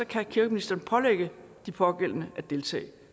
kan kirkeministeren pålægge de pågældende at deltage